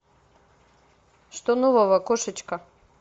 что нового кошечка